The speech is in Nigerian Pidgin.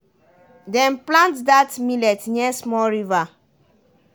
dem plant dat millet near small river